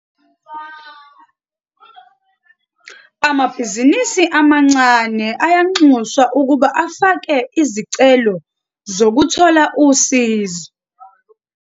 Amabhizinisi amancane ayanxuswa ukuba afake izicelo zokuthola usizo.